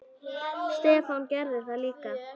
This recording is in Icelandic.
Stefán gerði það líka.